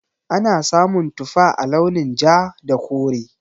Ana samun tufa a launin ja da kore.